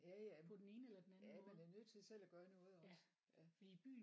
Ja ja ja man er nødt til selv at gøre noget også ja